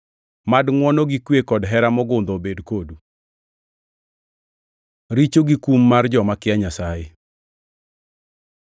Mad ngʼwono gi kwe kod hera mogundho obed kodu. Richo gi kum mar joma kia Nyasaye